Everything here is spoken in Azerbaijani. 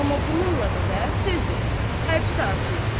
Amma bununla belə söz yox, xərci də az deyildi.